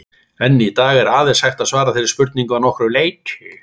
Enn í dag er aðeins hægt að svara þeirri spurningu að nokkru leyti.